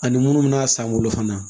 Ani munnu bɛ n'a san bolo fana